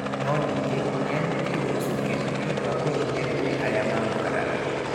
No ningĩ nĩ aanyitirũo ũcuke nĩ ũndũ wa kũhinyĩrĩria arĩa maamũkararagia.